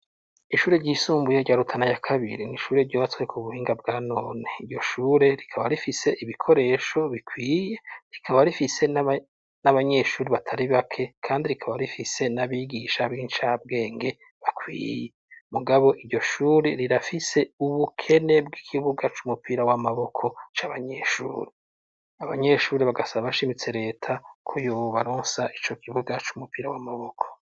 Ishuri ryisumbuye rya Rutana ya kabiri n'ishuri ryubatswe ku buhinga bwanone, iryo shure rikaba rifise ibikoresho bikwiye rikaba rifise n'abanyeshuri batari bake, kandi rikaba rifise n'abigisha b'incabwenge bakwiye mugabo iryo shure rirafise ubukene bw'ikibuga c'umupira w'amaboko c'abanyeshure, abanyeshure bagasa bashimitse reta ko yobaronsa ico kibuga c'umupira w'amaboko.